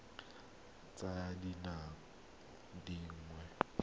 a botshabi a tsaya dingwaga